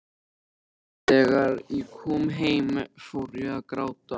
En þegar ég kom heim fór ég að gráta.